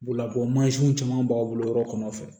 Boloko mansinw caman b'a bolo yɔrɔ kɔnɔ fɛ